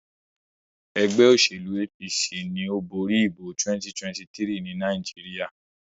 ègbé òṣèlú APC ní o bóri ìbò 2023 ní Nàìjíríà.